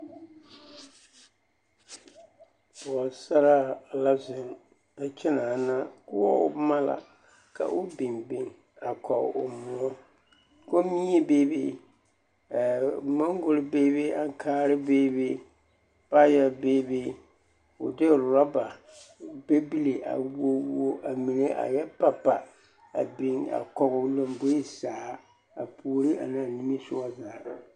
Pɔgesaraa la zeŋ a kyɛnaana, koɔbo boma la ka o biŋ biŋ a kɔge o kommie beebe, moŋgori beebe, aŋkaare beebe, paayɛ beebe, k'o de o roba pebile a wuo wuo a mine a yɛ pa pa a biŋ a kɔge o lomboe zaa a puori anaa nimisogɔ zaa.